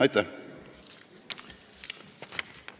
Aitäh!